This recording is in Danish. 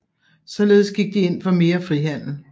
Således gik de ind for mere frihandel